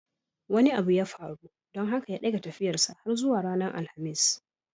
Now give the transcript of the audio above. Wani abu ya faru don haka ya dage tafiyarsa har zuwa ranar alhamis